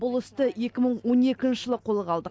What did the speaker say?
бұл істі екі мың он екінші жылы қолға алдық